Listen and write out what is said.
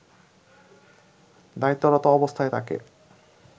দায়িত্বরত অবস্থায় তাকে